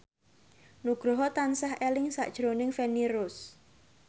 Nugroho tansah eling sakjroning Feni Rose